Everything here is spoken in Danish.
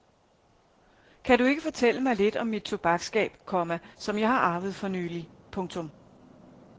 Kan du ikke fortælle mig lidt om mit tobaksskab, komma som jeg har arvet for nylig. punktum